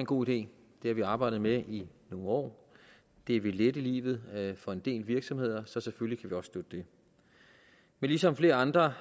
en god idé det har vi arbejdet med i nogle år det vil lette livet for en del virksomheder så selvfølgelig kan støtte det men ligesom flere andre